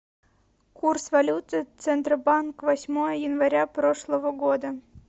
курс валюты центробанк восьмое января прошлого года